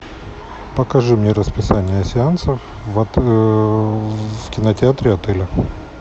покажи мне расписание сеансов в в кинотеатре отеля